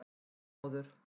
Þormóður